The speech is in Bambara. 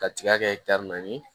Ka tiga kɛ naani ye